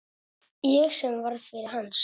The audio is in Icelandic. Ég sem var faðir hans.